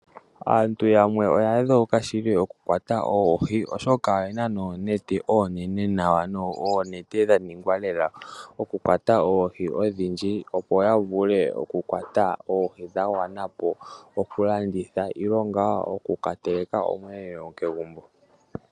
Aantu yamwe oya dheuka shili oku kwata oohi oshoka oyena oonete oonene ,oonete dha ningwa lela oku kwata oohi odhindji opo ya vule okukwata dha gwana okulanditha nenge ngaa okuka teleka omweelelo kegumbo.